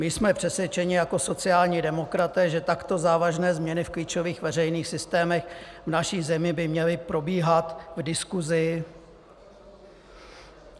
My jsme přesvědčeni jako sociální demokraté, že takto závažné změny v klíčových veřejných systémech v naší zemí by měly probíhat v diskusi.